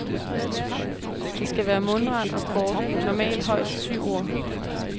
Det skal være mundret og kort, normalt højst syv ord.